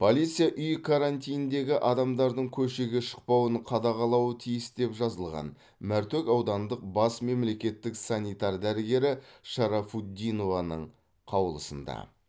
полиция үй карантиніндегі адамдардың көшеге шықпауын қадағалауы тиіс деп жазылған мәртөк аудандық бас мемлекеттік санитар дәрігері шарафутдинованың қаулысында